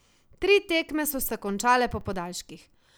Tri tekme so se končale po podaljških.